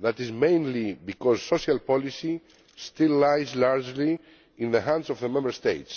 then that is mainly because social policy still lies largely in the hands of the Member States.